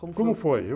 Como foi?